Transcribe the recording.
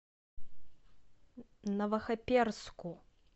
новохоперску